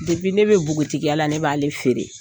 ne bɛ npogotigiya la ne b'ale feere,